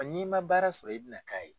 N'i ma baara sɔrɔ i bina k'a ye.